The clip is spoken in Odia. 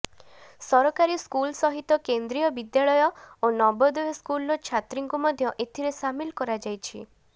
ସରକାରୀ ସ୍କୁଲ୍ ସହିତ କେନ୍ଦ୍ରୀୟ ବିଦ୍ୟାଳୟ ଓ ନବୋଦୟ ସ୍କୁଲର ଛାତ୍ରୀଙ୍କୁ ମଧ୍ୟ ଏଥିରେ ସାମିଲ କରାଯାଇଛି